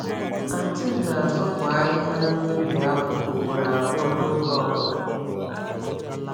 Anti m na-azụpụ ahịhịa n’ubi akpụ ugboro abụọ n’oge ọ bụla.